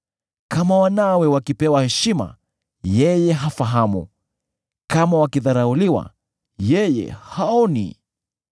Kama wanawe wakipewa heshima, yeye hafahamu; kama wakidharauliwa, yeye haoni.